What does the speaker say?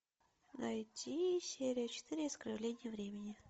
найти серия четыре искривление времени